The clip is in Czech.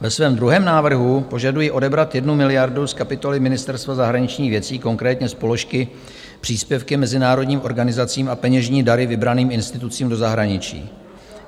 Ve svém druhém návrhu požaduji odebrat 1 miliardu z kapitoly Ministerstva zahraničních věcí, konkrétně z položky Příspěvky mezinárodním organizacím a peněžní dary vybraným institucím do zahraničí.